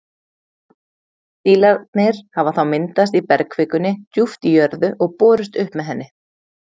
Dílarnir hafa þá myndast í bergkvikunni djúpt í jörðu og borist upp með henni.